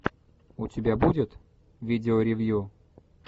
у тебя будет видео ревью